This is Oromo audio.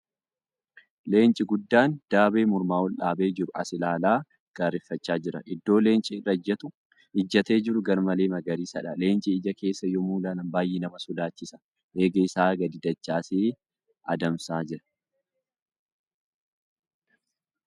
Leenci guddaan daabee mormaa ol dhaabee jiru as ilaalaa gaarreeffachaa jira. Iddoo Leenci irra ijjatee jiru garmalee magaariisadha. Leenci ija keessa yemmuu ilaalan baay'ee nama sodaachisa. Eegee isaa gadi dachaasee adamsaa jiira.